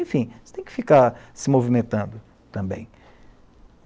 Enfim, você tem que ficar se movimentando também.